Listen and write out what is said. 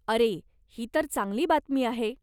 अरे, ही तर चांगली बातमी आहे.